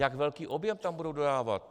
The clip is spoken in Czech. Jak velký objem tam budou dodávat?